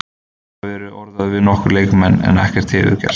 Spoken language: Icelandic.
Þeir hafa verið orðaðir við nokkra leikmenn en ekkert hefur gerst.